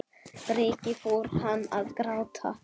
Breki: Fór hann að gráta?